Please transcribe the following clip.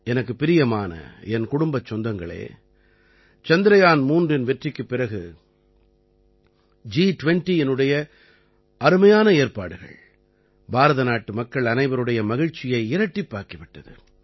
எனக்குப் பிரியமான என் குடும்பச் சொந்தங்களே சந்திரயான் 3 இன் வெற்றிக்குப் பிறகு ஜி20இனுடைய அருமையான ஏற்பாடுகள் பாரத நாட்டு மக்கள் அனைவருடைய மகிழ்ச்சியை இரட்டிப்பாக்கி விட்டது